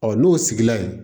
Ɔ n'o sigila ye